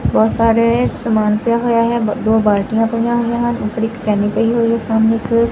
ਬਹੁਤ ਸਾਰੇ ਸਮਾਨ ਪਿਆ ਹੋਇਆ ਹੈ ਬ ਦੋ ਬਲਟਿਆਂ ਪਈਆਂ ਹੋਈਆਂ ਹਨ ਔਰ ਇੱਕ ਕੇਨੀ ਪਈ ਹੋਇਆ ਸਾਮ੍ਹਣੇ ਇੱਕ।